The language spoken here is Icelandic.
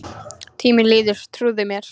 Tíminn líður, trúðu mér